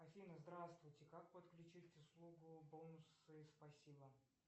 афина здравствуйте как подключить услугу бонусы спасибо